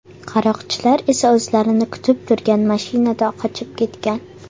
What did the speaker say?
Qaroqchilar esa o‘zlarini kutib turgan mashinada qochib ketgan.